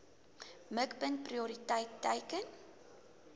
mikpunt prioriteit teiken